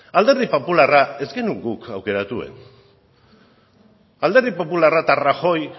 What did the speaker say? alderdi popularra ez genuen guk aukeratu alderdi popularra eta rajoy